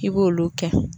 I b'olu kɛ